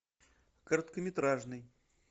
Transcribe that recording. короткометражный